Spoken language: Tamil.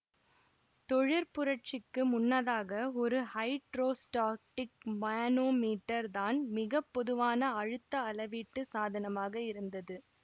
தொழிற்புரட்சிக்கு முன்னதாக ஒரு ஹைட்ரோஸ்டாடிக் மானோமீட்டர் தான் மிக பொதுவான அழுத்த அளவீட்டு சாதனமாக இருந்தது